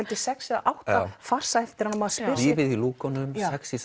sex eða átta farsa eftir hann og maður spyr sig lífið í lúkunum